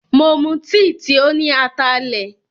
Mo mu tìì tí óní atalẹ̀.